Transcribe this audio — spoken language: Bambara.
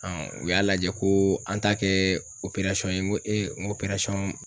u y'a lajɛ koo an t'a kɛɛ ye ŋo ŋ'